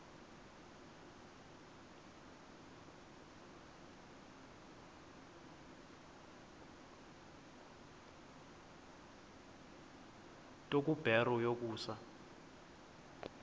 nto kubarrow yokusa